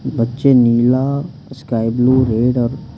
बच्चे नीला sky blue red और--